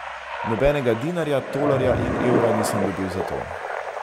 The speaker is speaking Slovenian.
Nobenega dinarja, tolarja in evra nisem dobil za to.